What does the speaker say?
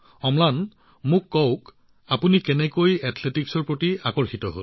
অম্লান এথলেটিকছৰ প্ৰতি ইমান আগ্ৰহ কেনেকৈ গঢ় লৈ উঠিল কওকচোন